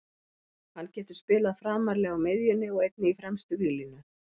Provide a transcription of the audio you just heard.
Hann getur spilað framarlega á miðjunni og einnig í fremstu víglínu.